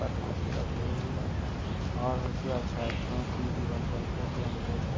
ऊपर कुर्सी रखी हुई है और होशियार छात्रों की दीवार पर फोटो अंकित है।